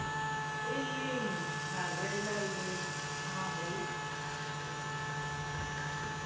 eleng pharela le ha ho